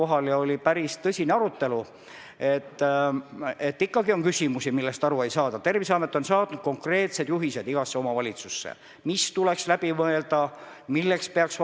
Ma tsiteerin teid: "Sõltumata edasiste arengute tõenäosusest on igati paslik teha ettevalmistusi võimaliku kriisi lahendamiseks.